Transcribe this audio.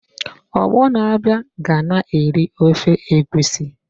Ọgbọ na-abịa ka na-eri ofe egusi!